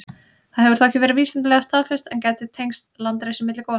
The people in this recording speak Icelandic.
Það hefur þó ekki verið vísindalega staðfest, en gæti tengst landrisi milli gosa.